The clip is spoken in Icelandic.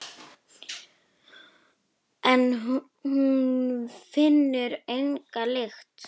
En hún finnur enga lykt.